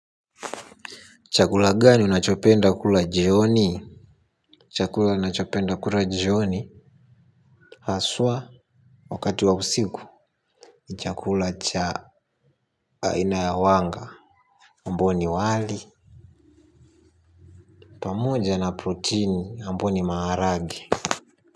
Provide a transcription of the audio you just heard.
Chakula gani unachopenda kula jioni. Chakula nachopenda kula jioni. Haswa wakati wa usiku. Chakula cha aina ya wanga ambao ni wali. Pamoja na protein ambao ni maharage.